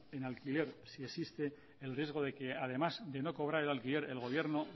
en alquiler si existe el riesgo de que además de no cobrar el alquiler el gobierno